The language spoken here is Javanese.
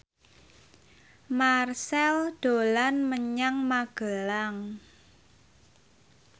Marchell dolan menyang Magelang